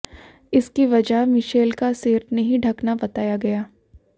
इसकी वजह मिशेल का सिर नहीं ढकना बताया गया